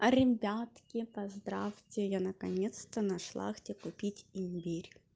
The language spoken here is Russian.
а ребятки поздравьте я наконец-то нашла где купить имбирь